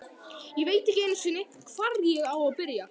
Ég veit ekki einu sinni, hvar ég á að byrja.